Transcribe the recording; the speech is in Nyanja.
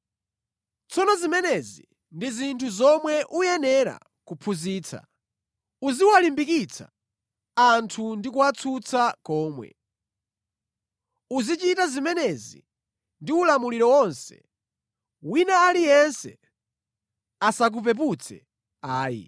Tsono zimenezi ndi zinthu zomwe uyenera kuphunzitsa. Uziwalimbikitsa anthu ndi kuwatsutsa komwe. Uzichita zimenezi ndi ulamuliro wonse. Wina aliyense asakupeputse ayi.